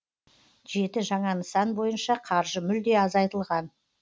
жеті жаңа нысан бойынша қаржы мүлде азайтылған